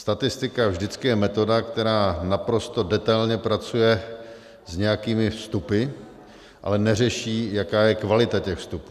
Statistika vždycky je metoda, která naprosto detailně pracuje s nějakými vstupy, ale neřeší, jaká je kvalita těch vstupů.